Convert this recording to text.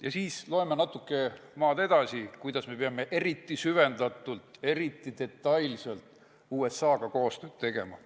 Ja siis loeme natuke edasi selle kohta, et me peame eriti süvendatult, eriti detailselt USA-ga koostööd tegema.